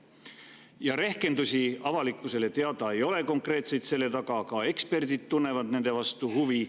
Konkreetseid rehkendusi avalikkusele teada ei ole, ka eksperdid tunnevad nende vastu huvi.